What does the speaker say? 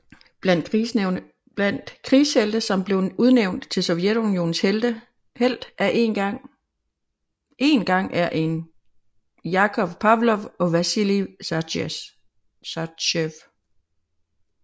Blandt krigshelte som blev udnævnt til Sovjetunionens Helt en gang er Jakov Pavlov og Vasilij Zajtsev